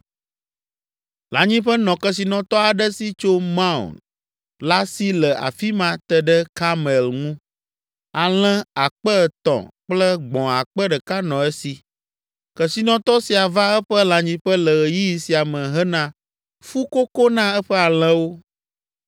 Lãnyiƒe nɔ kesinɔtɔ aɖe si tso Maon la si le afi ma te ɖe Karmel ŋu. Alẽ akpe etɔ̃ (3,000) kple gbɔ̃ akpe ɖeka nɔ esi. Kesinɔtɔ sia va eƒe lãnyiƒe le ɣeyiɣi sia me hena fukoko na eƒe alẽwo.